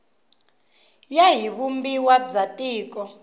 ya hi vumbiwa bya tiko